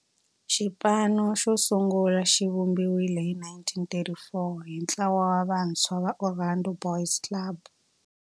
Xipano xosungula xivumbiwile hi 1934 hi ntlawa wa vantshwa va Orlando Boys Club.